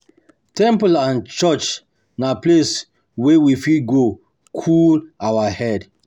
Temple and church na places wey we fit go cool our head